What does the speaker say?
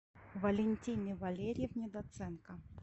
валентине валерьевне доценко